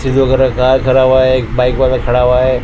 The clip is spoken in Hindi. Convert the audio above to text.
गाय खड़ा हुआ है एक बाइक वाला खड़ा हुआ है।